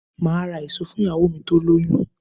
Máà ra èso fún ìyàwó mi tó lóyún